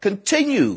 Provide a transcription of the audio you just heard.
Continue.